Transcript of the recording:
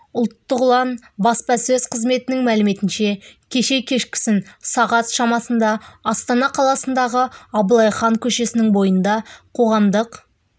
ұлттық ұлан баспасөз қызметінің мәліметінше кеше кешкісін сағат шамасында астана қаласындағы абылай хан көшесінің бойында қоғамдық